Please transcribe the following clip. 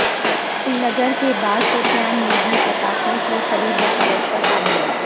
سری نگر کے بعد شوپیان میں بھی پٹاخوں کی خریدوفروخت پر پابندی